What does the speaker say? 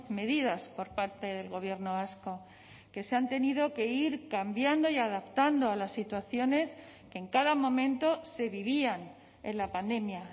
medidas por parte del gobierno vasco que se han tenido que ir cambiando y adaptando a las situaciones que en cada momento se vivían en la pandemia